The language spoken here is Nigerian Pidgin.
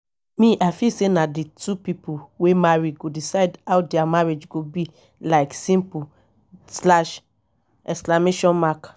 me i feel say na the two people wey marry go decide how dia marriage go be like simple slash exclamation mark